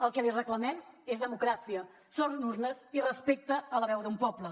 el que li reclamem és democràcia són urnes i respecte a la veu d’un poble